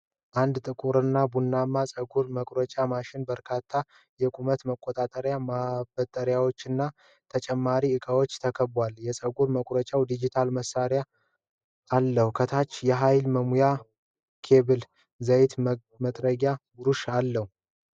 አንድ ጥቁርና ብርማ የፀጉር መቁረጫ ማሽን በበርካታ የቁመት መቆጣጠሪያ ማበጠሪያዎችና ተጨማሪ እቃዎች ተከቧል። የፀጉር መቁረጫው ዲጂታል ማሳያ አለው። ከታችም የኃይል መሙያ ኬብል፣ ዘይትና መጥረጊያ ብሩሽ አሉ።